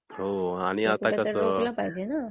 overlapping sound